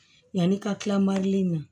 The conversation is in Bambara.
Yanni ka kila na